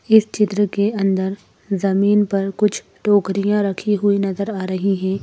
इस चित्र के अंदर जमीन पर कुछ टोकरियां रखी हुई नजर आ रही हैं।